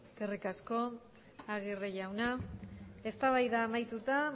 eskerrik asko agirre jauna eztabaida amaituta